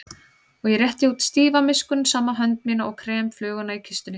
Og ég rétti út stífa miskunnsama hönd mína og krem fluguna í kistunni.